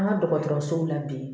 An ka dɔgɔtɔrɔsow la bi